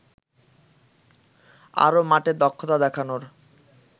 আরও মাঠে দক্ষতা দেখানোর